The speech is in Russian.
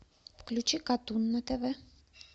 включи катун на тв